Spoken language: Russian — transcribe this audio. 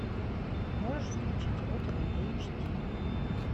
можешь включить родина эйч ди